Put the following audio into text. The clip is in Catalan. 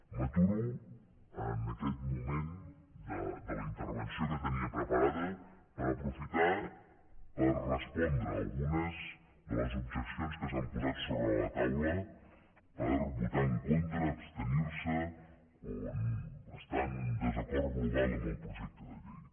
m’aturo en aquest moment de la intervenció que tenia preparada per aprofitar per respondre algunes de les objeccions que s’han posat sobre la taula per votar en contra abstenir se o estar en desacord global amb el projecte de llei